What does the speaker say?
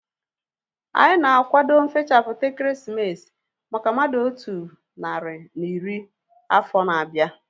Anyị na-akwado nfechaputa ekeresimesi maka mmadụ otu narị na iri afọ na-abịa